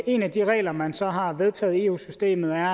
en af de regler man så har vedtaget i eu systemet er